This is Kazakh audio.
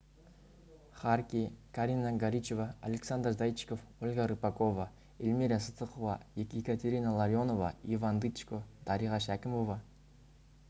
харки карина горичева александр зайчиков ольга рыпакова эльмира сыздықова екатерина ларионова иван дычко дариға шәкімова